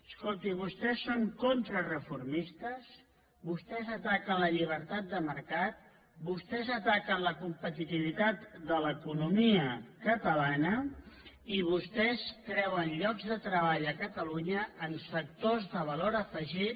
escolti vostès són contrareformistes vostès ataquen la llibertat de mercat vostès ataquen la competitivitat de l’economia catalana i vostès treuen llocs de treball a catalunya en sectors de valor afegit